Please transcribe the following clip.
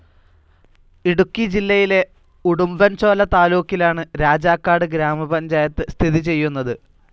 ഇടുക്കി ജില്ലയിലെ ഉടുമ്പൻചോല താലൂക്കിലാണ് രാജാക്കാട് ഗ്രാമപഞ്ചായത്ത് സ്ഥിതി ചെയ്യുന്നത്.